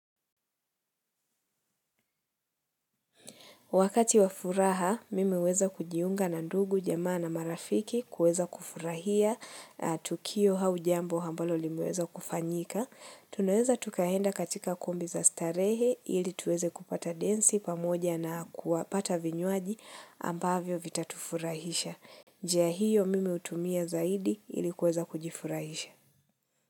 Wakati wa furaha, mimi huweza kujiunga na ndugu, jamaa na marafiki, kuweza kufurahia, tukio au jambo ambalo limeweza kufanyika. Tunaweza tukaenda katika kumbi za starehe, ili tuweze kupata densi pamoja na kuwapata vinywaji ambavyo vitatufurahisha. Njia hiyo mimi hutumia zaidi ili kuweza kujifurahisha.